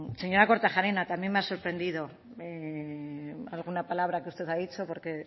señora kortajarena también me ha sorprendido alguna palabra que usted ha dicho porque